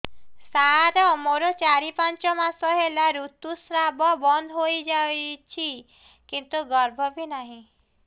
ସାର ମୋର ଚାରି ପାଞ୍ଚ ମାସ ହେଲା ଋତୁସ୍ରାବ ବନ୍ଦ ହେଇଯାଇଛି କିନ୍ତୁ ଗର୍ଭ ବି ନାହିଁ